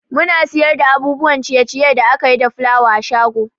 Muna siyar da abubuwan ciye ciye da akayi da fulawa a shago